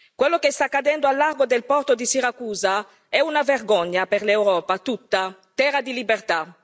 Quello che sta accadendo al largo del porto di Siracusa è una vergogna per l'Europa tutta terra di libertà.